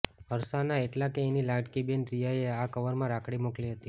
હર્ષ ના એટલે કે એની લાડકી બહેન રિયા એ આ કવર માં રાખડી મોકલી હતી